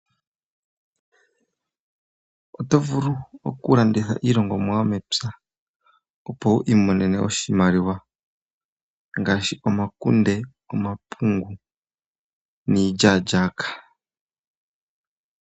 Oto vulu okulanditha iilongomwa yomepya, opo wi imonene oshimaliwa. Ngaashi omapungu, omakunde niilyaalyaaka.